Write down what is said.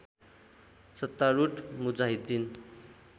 सत्तारुढ मुजाहिद्दिन